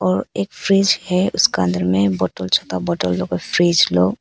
एक फ्रिज है उसका अंदर में बॉटल लोग।